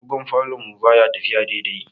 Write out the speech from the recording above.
Agogon falon mu baya tafiya daidai.